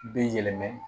Bi yɛlɛma